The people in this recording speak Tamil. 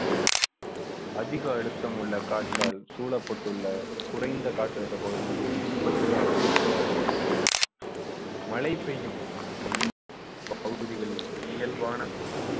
அதிக அழுத்தம் உள்ள காற்றால் சூழப்பட்டுள்ள குறைந்த காற்றழுத்த பகுதியிலிருந்து சூறாவளி உருவாகும். மழை பெய்யும் பகுதிகளில் இயல்பான